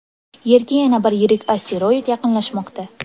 Yerga yana bir yirik asteroid yaqinlashmoqda.